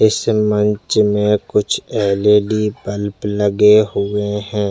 इस मंच में कुछ एल.ई.डी. बल्ब लगे हुए है।